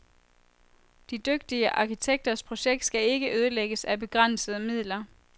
De dygtige arkitekters projekt skal ikke ødelægges af begrænsede midler.